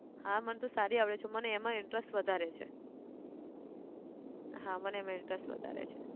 હા મને તો સારી આવડે છે મને એમાં interest વધારે છે, હા મને એમાં interest વધારે છે.